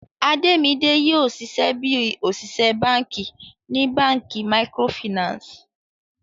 Ademide yoo ṣiṣẹ bi oṣiṣẹ banki ni banki micro Finance.